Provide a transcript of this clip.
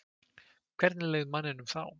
Hvernig leið manninum þá?